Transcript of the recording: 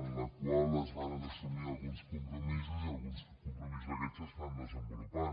en la qual es varen assumir alguns compromisos i alguns compromisos d’aquests s’estan desenvolupant